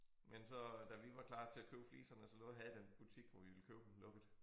Men så da vi var klar til at købe fliserne så lovede havde den butik hvor vi ville købe dem lukket